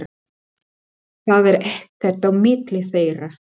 Það er ekkert á milli þeirra.